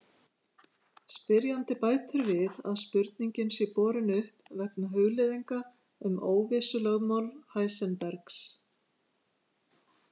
Spyrjandi bætir við að spurningin sé borin upp vegna hugleiðinga um óvissulögmál Heisenbergs.